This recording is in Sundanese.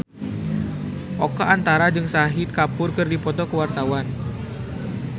Oka Antara jeung Shahid Kapoor keur dipoto ku wartawan